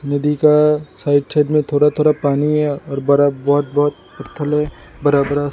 नदी का side side में थोरा थोरा पानी है और बरा बहुत बहुत पत्थल है बरा बरा सा।